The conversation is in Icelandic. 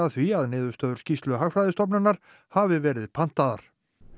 því að niðurstöður skýrslu Hagfræðistofnunar hafi verið pantaðar